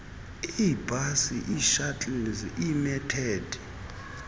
iibhasi ishuttles iimetered